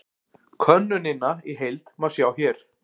Könnunina í heild má sjá hér